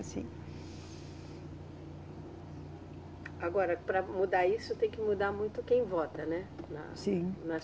Sim. Agora, para mudar isso, tem que mudar muito quem vota, né. Sim. Na, nas